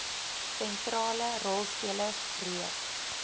sentrale rolspelers reeds